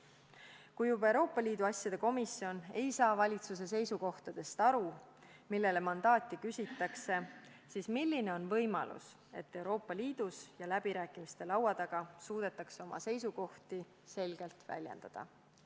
Kui juba Euroopa Liidu asjade komisjon ei saa aru valitsuse seisukohtadest, millele mandaati küsitakse, siis milline on võimalus, et Euroopa Liidus läbirääkimiste laua taga suudetakse oma seisukohti selgelt väljendada?